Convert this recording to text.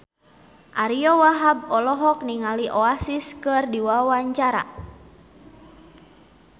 Ariyo Wahab olohok ningali Oasis keur diwawancara